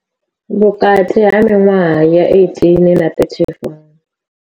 Vhukati ha miṅwaha ya 18 na 34.